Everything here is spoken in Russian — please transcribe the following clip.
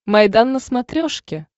майдан на смотрешке